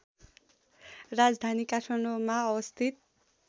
राजधानी काठमाडौँमा अवस्थित